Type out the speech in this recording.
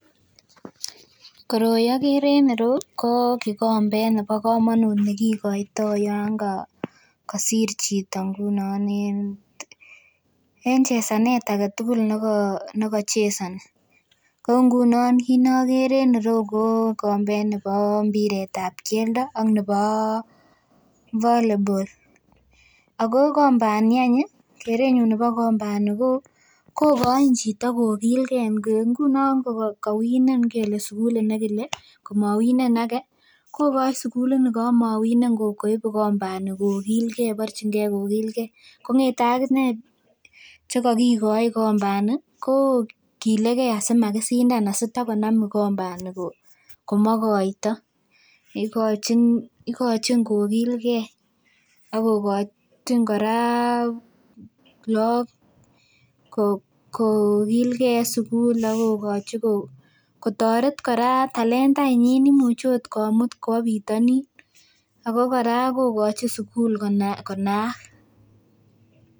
Koroi okere en ireyu ko kikombet nebo komonut nekikoitoo yon kosir chito ngunon en chesanet aketugul neko nekochesoni ko ngunon kit nokere en ireu ko kikombet nebo mpiret nebo mpiret ab keldo ak nebo volleyball ako kikombani any ih kerenyun nebo kikombani kokoin chito kokilgee ngunon kowinen kele sugulit nekile komowinen age kokoin sugulit ni komowinen koib kikombani kokilgee borchingee kokilgee kongete akinee chekokikoi kikombani kokilegee asimakisindan asitakonam kikombani ko komokoito igochin kokilgee akokochin kora look kokilgee en sugul ak kokochin kotoret kora talentainyin imuche ot komut kwo butonin ako kora kokochin sugul konaak.